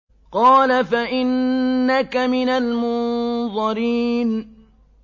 قَالَ فَإِنَّكَ مِنَ الْمُنظَرِينَ